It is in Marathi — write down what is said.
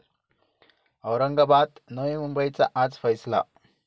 औरंगाबाद, नवी मुंबईचा आज फैसला